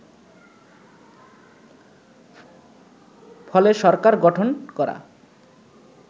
ফলে সরকার গঠন করা